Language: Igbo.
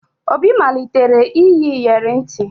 Obi malitere iyi iyeri ntị